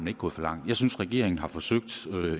er gået for langt jeg synes regeringen har forsøgt